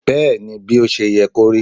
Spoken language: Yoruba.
bẹẹni, bi o ṣe ye korí